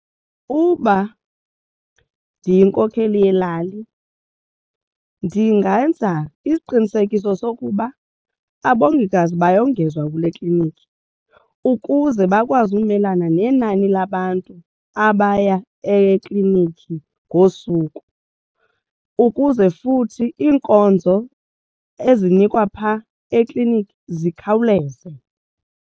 Uba ndiyinkokheli yelali ndingenza isiqinisekiso sokuba abongikazi bayongezwa kule kliniki ukuze bakwazi umelana nenani labantu abaya ekliniki ngosuku ukuze futhi iinkonzo ezinikwa phaa eklinikhi zikhawuleze.